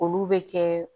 Olu bɛ kɛ